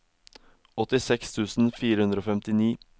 åttiseks tusen fire hundre og femtini